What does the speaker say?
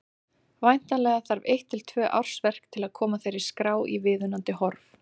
Væntanlega þarf eitt til tvö ársverk til að koma þeirri skrá í viðunandi horf.